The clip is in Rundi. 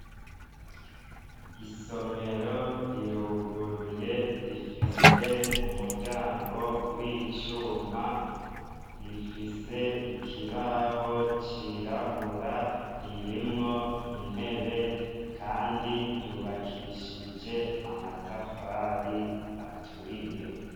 Isomero riruguruye, rifise umuryango w'icuma. Rifise ikibaho cirabura, ririmwo intebe kandi ryubakishije amatafari aturiye.